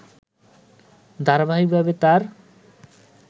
ধারাবাহিকভাবে তাঁর